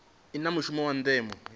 i na mushumo wa ndeme